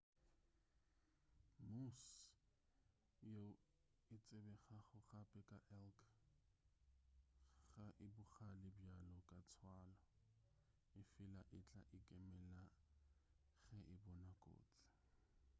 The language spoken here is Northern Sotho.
moose yeo e tsebegago gape ka elk ga e bogale bjalo ka tswalo efela e tla ikemela ge e bona kotsi